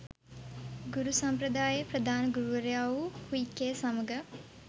ගුරු සම්ප්‍රදායේ ප්‍රධාන ගුරුවරයා වූ හුයි කේ සමඟ